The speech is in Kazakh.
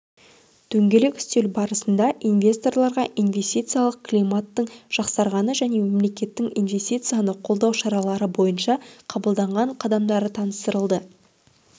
дөңгелек үстел барысында инвесторларға инвестициялық климаттың жақсарғаны және мемлекеттің инвестицияны қолдау шаралары бойынша қабылданған қадамдары таныстырылды